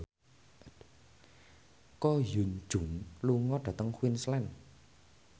Ko Hyun Jung lunga dhateng Queensland